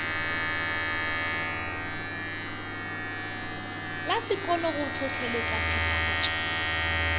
la sekolo go hlohleletša phethagatšo